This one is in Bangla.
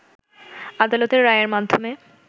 আদালতের রায়ের মাধ্যমে